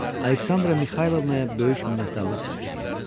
Aleksandra Mixaylovnaya böyük minnətdarlıq hiss edirdim.